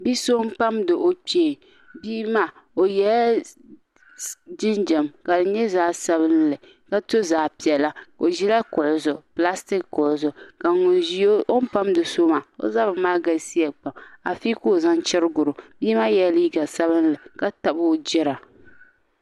Bia so n pamdi o kpee bia maa o yɛla jinjɛm ka di nyɛ zaɣ sabinli ka to zaɣ piɛla o ʒila kuɣu zuɣu pilastik kuɣu zuɣu ka o ni pamdi so maa o zabiri galisiya pam bia maa yɛla liiga sabinli ka tabi o jira